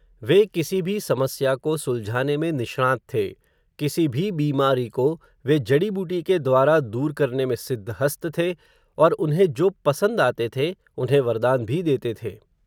वे किसी भी समस्या को, सुलझाने में, निष्णात थे, किसी भी बीमारी को वे, जड़ीबूटी के द्वारा, दूर करने में सिद्ध हस्त थे, और उन्हें जो पसंद आते थे, उन्हें वरदान भी देते थे.